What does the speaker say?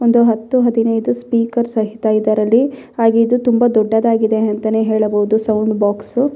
ಒಂದು ಹತ್ತು ಹದಿನೈದು ಸ್ಪೀಕರ್ ಸಹಿತ ಇದರಲ್ಲಿ ಹಾಗೆ ಇದು ತುಂಬಾ ದೊಡ್ಡದಾಗಿದೆ ಅಂತಾನೆ ಹೇಳಬಹುದು ಸೌಂಡ್ ಬೊಕ್ಸು .